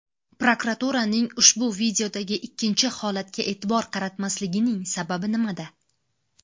Prokuraturaning ushbu videodagi ikkinchi holatga e’tibor qaratmasligining sababi nimada?